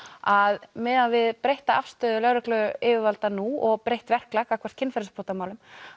að miðað við breytta afstöðu lögregluyfirvalda nú og breytt verklag gagnvart kynferðisbrotamálum